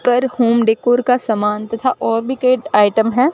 कर home decor का सामान तथा और कई आइटम है।